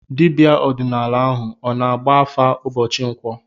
Dibịa ọdịnala ahụ ọ na-agba afa ụbọchị nkwọ?